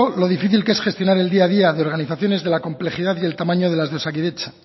lo difícil que es gestionar el día a día de organizaciones de la complejidad y el tamaño de la de osakidetza